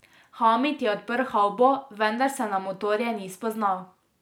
Hamid je odprl havbo, vendar se na motorje ni spoznal.